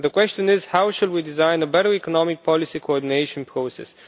The question is, how shall we design a better economic policy coordination process?